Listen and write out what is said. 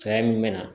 Fɛɛrɛ min bɛ na